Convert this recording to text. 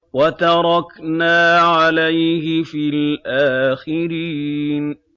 وَتَرَكْنَا عَلَيْهِ فِي الْآخِرِينَ